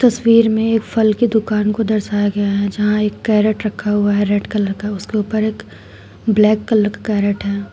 तस्वीर में एक फल की दुकान को दर्शाया गया है जहां एक कैरेट रखा हुआ है रेड कलर का उसके ऊपर एक ब्लैक कलर का कैरेट है।